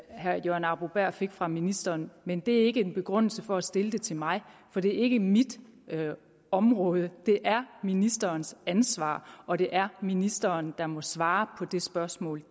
herre jørgen arbo bæhr fik fra ministeren men det er ikke en begrundelse for at stille det til mig for det er ikke mit område det er ministerens ansvar og det er ministeren der må svare på det spørgsmål